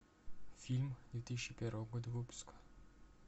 фильм две тысячи первого года выпуска